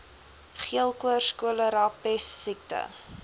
geelkoors cholera pessiekte